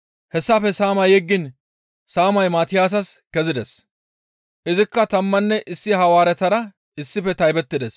Hessafe saama yeggiin saamay Maatiyaasas kezides; izikka tammanne issi Hawaaretara issife taybettides.